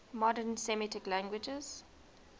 modern semitic languages